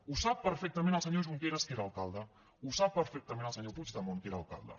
ho sap perfectament el senyor junqueras que era alcalde ho sap perfectament el senyor puigdemont que era alcalde